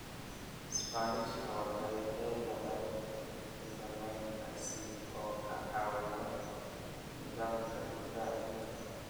Isbaanishka waxay leedahay fiitamiinka C oo ka caawiya nidaamka difaaca jidhka.